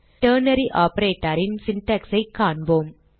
ternary Operator ன் syntax ஐ காண்போம்